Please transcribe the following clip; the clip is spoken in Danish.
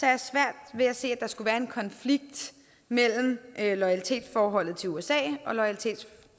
jeg svært ved at se at der skulle være en konflikt mellem loyalitetsforholdet til usa